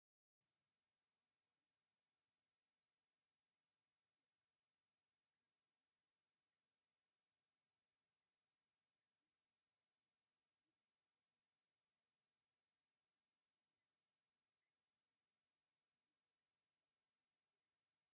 ብቆርቆሮን ኦምን ዝተሰርሑ ቡዙሓት ናይ ስራሕ ገዛውቲ ይርከቡ፡፡ ካብዚኦም ክልተ ድንኳን፣ እንዳ ሳይክል ምፅጋንን እንዳ ጣውላ ዘዐርዩን ይርከቡዎም፡፡ እረ እዞም ገዛውቲ አብ ወሰን መልክዐኛ እምኒ ኮይኖም ብጣዕሚ ቆራማት እዮም፡፡